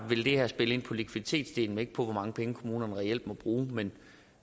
vil det her spille ind på likviditetsdelen men ikke på hvor mange penge kommunerne reelt må bruge men